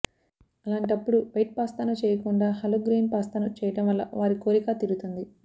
అలాంటప్పుడు వైట్ పాస్తాను చేయకుండా హోల్ గ్రెయిన్ పాస్తాను చేయడం వల్ల వారి కోరికా తీరుతుంది